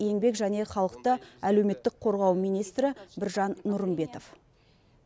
еңбек және халықты әлеуметтік қорғау министрі біржан нұрымбетов